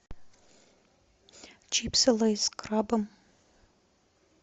чипсы лейс с крабом